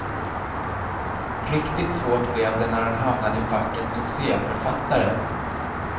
Riktigt svårt blev det när han hamnade i facket succéförfattare.